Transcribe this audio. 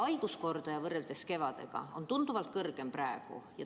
Haiguskordaja on võrreldes kevadega praegu tunduvalt kõrgem.